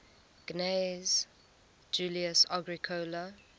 gnaeus julius agricola